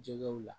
Jɛgɛw la